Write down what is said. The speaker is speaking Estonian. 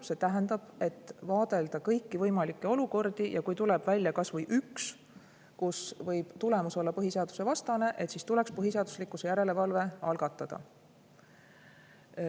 See tähendab, et võiks vaadelda kõiki võimalikke olukordi ja kui tuleb välja kas või üks, kus võib tulemus olla põhiseadusvastane, siis tuleks põhiseaduslikkuse järelevalve algatada.